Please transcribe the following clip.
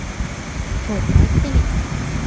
To‘g‘ri aytgan ekan.